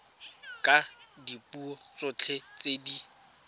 ka dipuo tsotlhe tse di